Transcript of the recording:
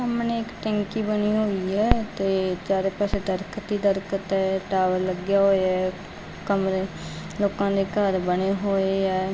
ਸਾਹਮਣੇ ਇੱਕ ਟੈਂਕੀ ਬਣੀ ਹੋਈ ਆ ਤੇ ਚਾਰੇ ਪਾਸੇ ਦਰੱਖਤ ਹੀ ਦਰਖਤ ਹੈ ਟਾਵਰ ਲੱਗਿਆ ਹੋਇਆ ਆ ਕਮਰੇ ਲੋਕਾਂ ਦੇ ਘਰ ਬਣੇ ਹੋਏ ਹੈ।